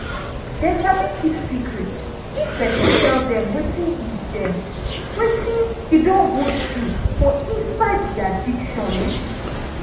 dem sabi keep secret if pesin tell dem wetin e dem wetin e don go through for inside di addiction.